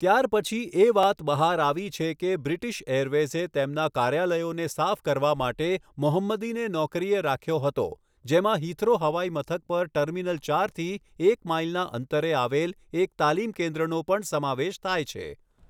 ત્યારપછી એ વાત બહાર આવી છે કે બ્રિટિશ એરવેઝે તેમના કાર્યાલયોને સાફ કરવા માટે મોહંમદીને નોકરીએ રાખ્યો હતો, જેમાં હિથ્રો હવાઇમથક પર ટર્મિનલ ચારથી એક માઈલના અંતરે આવેલ એક તાલીમ કેન્દ્રનો પણ સમાવેશ થાય છે.